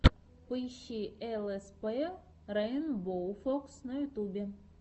поищи лспрейнбоуфокс на ютубе